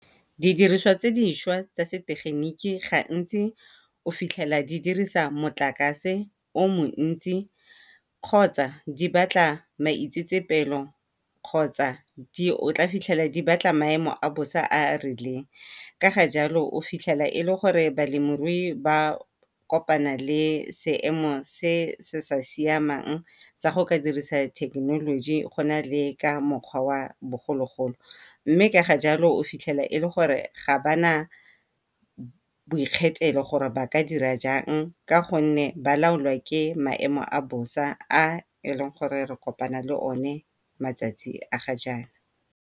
Di diriswa tse dišwa tsa setegeniki gantsi o fitlhela di dirisa motlakase o montsi kgotsa di batla maitsetsepelo kgotsa o tla fitlhela di batla maemo a bosa a a rileng. Ka ga jalo o fitlhela e le gore balemirui ba kopana le seemo se se sa siamang sa go ka dirisa thekenoloji go na le ka mokgwa wa bogologolo. Mme ka ga jalo o fitlhela e le gore ga ba na bo ikgethelo gore ba ka dira jang ka gonne ba laolwa ke maemo a bosa a e le gore re kopana le o one matsatsi a ga jaana.